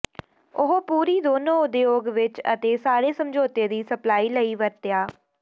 ਉਹ ਪੂਰੀ ਦੋਨੋ ਉਦਯੋਗ ਵਿਚ ਅਤੇ ਸਾਰੇ ਸਮਝੌਤੇ ਦੀ ਸਪਲਾਈ ਲਈ ਵਰਤਿਆ